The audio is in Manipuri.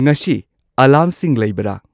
ꯉꯁꯤ ꯑꯦꯂꯥꯔꯝꯁꯤꯡ ꯂꯩꯕꯔꯥ